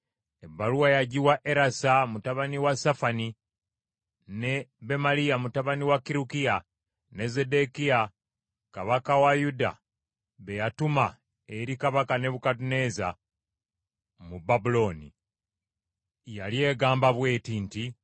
Ebbaluwa yagiwa Erasa mutabani wa Safani ne Bemaliya mutabani wa Kirukiya, ne Zeddekiya kabaka wa Yuda be yatuma eri kabaka Nebukadduneeza mu Babulooni. Yali egamba bw’eti nti,